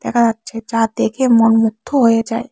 দেখা যাচ্ছে যা দেখে মন মুগ্ধ হয়ে যায়।